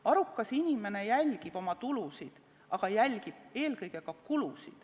Arukas inimene jälgib oma tulusid, aga ta jälgib eelkõige kulusid.